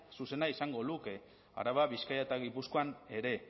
zuzena izango luke araba bizkaia eta gipuzkoan ere